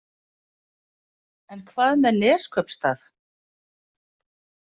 En hvað með Neskaupstað?